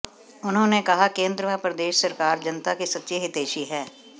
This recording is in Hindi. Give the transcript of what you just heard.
उन्होंने कहा केन्द्र व प्रदेश सरकार जनता की सच्ची हितैषी है